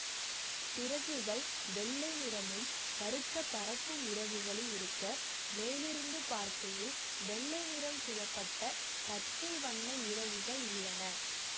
சிறகுகள் வெள்ளை நிறமும் கருத்த பறக்கும் இறகுகளும் இருக்க மேலிருந்து பார்க்கையில் வெள்ளை நிறம் சூழப்பட்ட பச்சை வண்ண இறகுகள் உள்ளன